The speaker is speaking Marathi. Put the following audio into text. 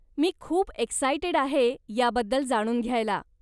मी खूप एक्सायटेड आहे याबद्दल जाणून घ्यायला.